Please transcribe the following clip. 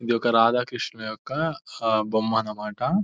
ఇది ఒక రాధాకృష్ణన్ యొక్క బొమ్మ అన్నమాట.